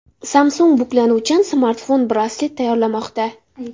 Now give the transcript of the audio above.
Samsung buklanuvchan smartfon-braslet tayyorlamoqda .